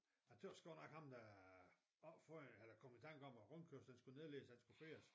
Jeg tøs godt nok ham der opfandt eller kom i tanke om at rundkørslen skulle nedlægges han skulle fyres